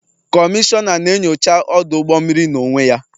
Kọmishọna na-enyocha ọdụ ụgbọ mmiri n'onwe ya